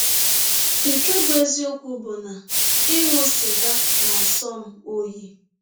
Nke bụ́ eziọkwụ bụ na ịṅụ sịga na - asọ m ọyi.